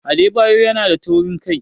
Adebayor yanada taurin kai.